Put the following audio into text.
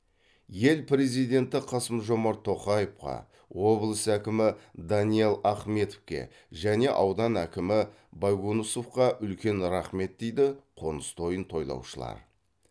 ел президенті қасымжомарт тоқаевқа облыс әкімі даниял ахметовке және аудан әкімі байгонусовқа үлкен рахмет дейді қоныс тойын тойлаушылар